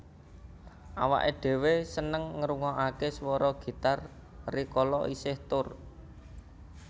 Awake dhewe seneng ngrukokake suara gitar rikala isih tur